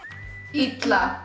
illa